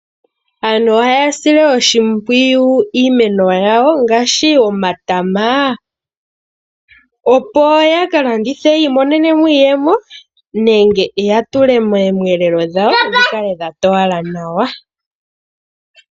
Aantu ohaya sile oshimpwiyu iimeno yawo ngaashi omatama opo ya ka landithe ya imonene mo iiyemo, nenge ya tule moomwelelo dhawo dhi kale dha towala nawa.